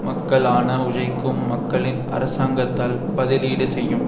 மக்களால் ஆன உழைக்கும் மக்களின் அரசாங்கத்தால் பதிலீடு செய்யும்